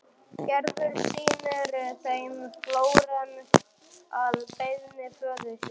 Gerður sýnir þeim Flórens að beiðni föður síns.